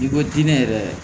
I ko jinɛ yɛrɛ